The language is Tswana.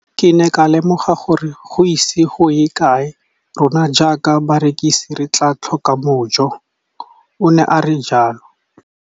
Ke ne ka lemoga gore go ise go ye kae rona jaaka barekise re tla tlhoka mojo, o ne a re jalo.